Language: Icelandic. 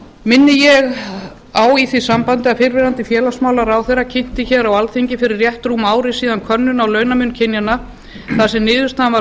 minni ég á í því sambandi að fyrrverandi félagsmálaráðherra kynnti hér á alþingi fyrir rétt rúmu ári síðan um könnun á launamun kynjanna þar sem niðurstaðan var